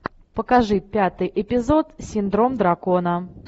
покажи пятый эпизод синдром дракона